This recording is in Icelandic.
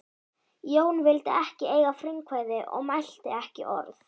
Jón vildi ekki eiga frumkvæði og mælti ekki orð.